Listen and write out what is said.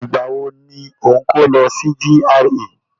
Nígbà wo ni o ń kó lọ sí GRA?